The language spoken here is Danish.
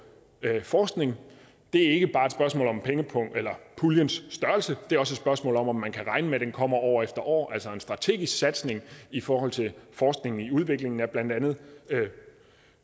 forskningen det er ikke bare et spørgsmål om puljens størrelse det er også et spørgsmål om om man kan regne med at den kommer år efter år altså en strategisk satsning i forhold til forskningen i udviklingen af blandt andet